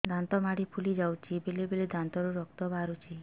ଦାନ୍ତ ମାଢ଼ି ଫୁଲି ଯାଉଛି ବେଳେବେଳେ ଦାନ୍ତରୁ ରକ୍ତ ବାହାରୁଛି